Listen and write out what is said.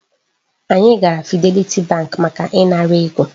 Anyị gara Fidelity bank maka ị ṅara ego.